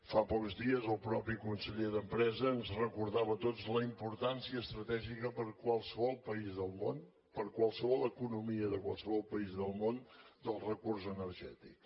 fa pocs dies el mateix conseller d’empresa ens recordava a tots la importància estratègica per a qualsevol país del món per a qualsevol economia de qualsevol país del món del recurs energètic